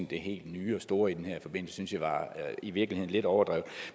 det helt nye og store i den her forbindelse i virkeligheden var lidt overdrevet